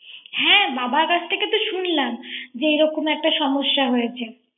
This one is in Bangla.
হ্যা বাবার কাছ থেকে তো এরকম সমস্যা হয়েছে